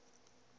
geag sou gewees